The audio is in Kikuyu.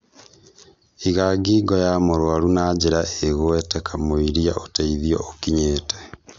iga ngingo ya mũrũarũ na njĩra ĩgwete kamwĩira ũtheithio ũkinyĩte.